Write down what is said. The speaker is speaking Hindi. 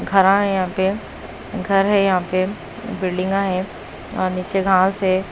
घरा है यहां पे घर है यहां पे बिल्डिंगा है आ नीचे घास है।